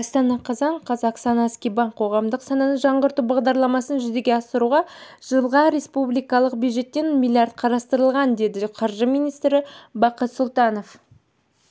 астана қазан қаз оксана скибан қоғамдық сананы жаңғырту бағдарламасын жүзеге асыруға жылға республикалық бюджетте млрд қарастырылған деді қаржы министрі бақыт сұлтанов